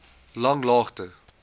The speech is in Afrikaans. langlaagte